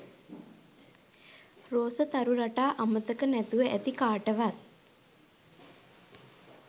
රෝස තරු රටා අමතක නැතුව ඇති කාටවත්